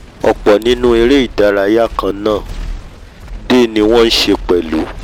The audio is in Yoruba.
ọ̀pọ̀ nínú eré-ìdárayá kannáà dè ni wọ́n nṣe pẹ̀lú